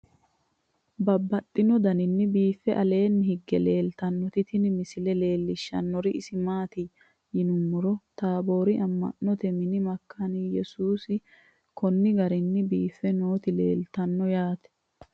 Babaxxittinno daninni biiffe aleenni hige leelittannotti tinni misile lelishshanori isi maattiya yinummoro taaborri ama'notte mini makaane yesuusihu konni garinni biiffe nootti leelittanno yaatte